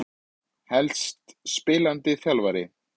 Helst spilandi þjálfara.